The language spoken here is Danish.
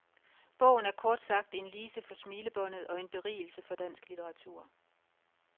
Bogen er kort sagt en lise for smilebåndet, og en berigelse for dansk litteratur.